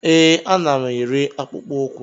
Ee, ana m ere akpụkpọ ụkwụ